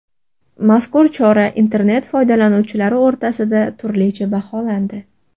Mazkur chora internet foydalanuvchilari o‘rtasida turlicha baholandi.